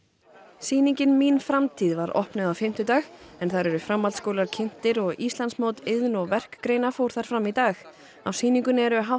sýningin mín framtíð var opnuð á fimmtudag en þar eru framhaldsskólar kynntir og Íslandsmót iðn og verkgreina fór þar fram í dag á sýningunni eru hátt